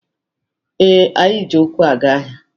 Ee, anyị ji ụkwụ aga ahịa.